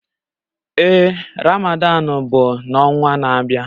Ee Ramadan bụ n'ọnwa na-abịa.